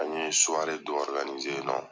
An ye suware dɔ ɔriganize